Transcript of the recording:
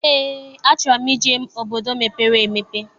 Eé, achọrọ m ije obodo mepere emepe.